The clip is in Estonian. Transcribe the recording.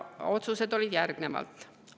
Otsused olid järgnevad.